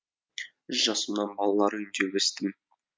үш жасымнан балалар үйінде өстім